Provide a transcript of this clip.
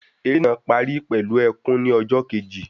Eré náà parí pẹlú ẹkùn ni ọjọ Kejì